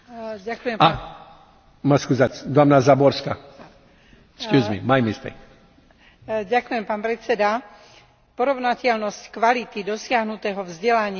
Porovnateľnosť kvality dosiahnutého vzdelania a prekonanie jazykovej bariéry vytvárajú príležitosti pre mnohých mladých ľudí využiť svoje nadanie a vedomosti.